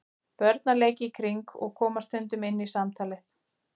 Börn að leik í kring og koma stundum inn í samtalið.